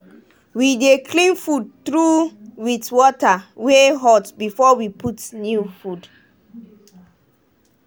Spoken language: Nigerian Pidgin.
we dey clean food trough with water wey hot before we put new food.